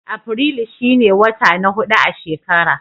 Afirilu shi ne wata na hudu a shekara.